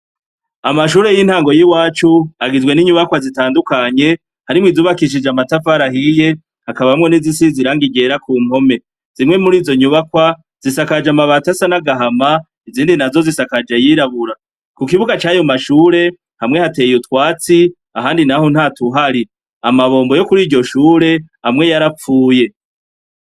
Amashure y'intango yiwacu agizwe n'inyubakwa zitandukanye , harimwo izubakishijwe amatafari ahiye , hakabamwo nizisize irangi ryera ku mpome. Zimwe murizo nyubakwa zisakajwe amabati asa n'agahama , izindi nazo zisakaje ayirabura. kukibuga cayo mashure hamwe hateye utwatsi, ahandi naho ntatuhari. Amabombo yo kuriryo shure, amwe yarapfuye.